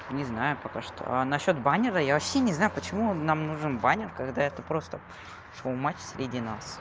не знаю пока что а насчёт баннера я вообще не знаю почему он нам нужен баннер когда это просто шоу матч среди нас